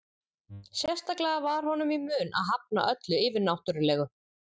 Sérstaklega var honum í mun að hafna öllu yfirnáttúrulegu.